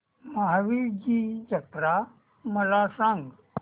महावीरजी जत्रा मला सांग